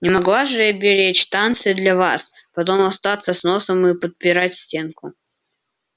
не могла же я беречь танцы для вас потом остаться с носом и подпирать стенку